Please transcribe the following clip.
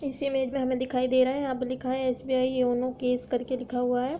इस इमेज में हमें दिखाई दे रहा है। यहाँ पे लिखा है एस.बी.आई योनो केस करके लिखा हुआ है।